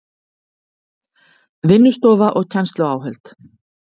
Vinnustofa og kennsluáhöld